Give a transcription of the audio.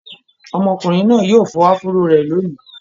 Ọmọkùnrin náà yóò fọ áfúró rẹ̀ lónìí.